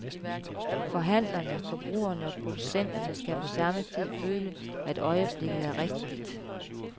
Forhandlerne, forbrugerne og producenterne skal på samme tid føle, at øjeblikket er rigtigt.